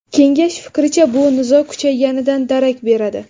Kengash fikricha, bu nizo kuchayganidan darak beradi.